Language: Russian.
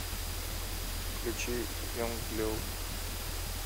включи янг блю